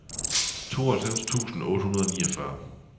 tooghalvfems tusind otte hundrede og niogfyrre